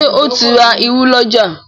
Ṣe o tin rá ìrù l'ọja?